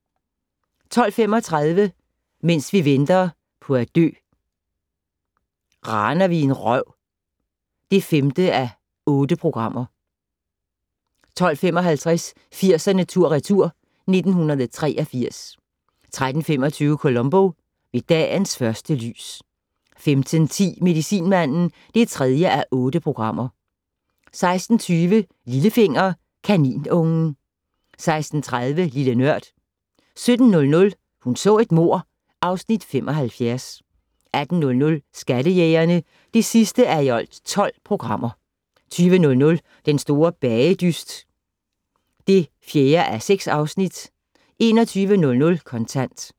12:35: Mens vi venter på at dø - Raner vi en røv (5:8) 12:55: 80'erne tur/retur: 1983 13:25: Columbo: Ved dagens første lys 15:10: Medicinmanden (3:8) 16:20: Lillefinger - Kaninungen 16:30: Lille Nørd 17:00: Hun så et mord (Afs. 75) 18:00: Skattejægerne (12:12) 20:00: Den store bagedyst (4:6) 21:00: Kontant